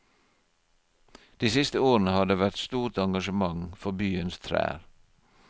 De siste årene har det vært stort engasjement for byens trær.